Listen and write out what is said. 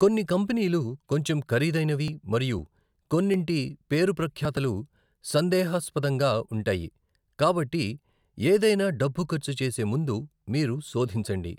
కొన్ని కంపెనీలు కొంచెం ఖరీదైనవి మరియు కొన్నింటి పేరుప్రఖ్యాతులు సందేహాస్పదంగా ఉంటాయి కాబట్టి ఏదైనా డబ్బు ఖర్చు చేసే ముందు మీరు శోధించండి.